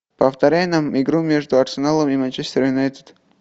повторяй нам игру между арсеналом и манчестер юнайтед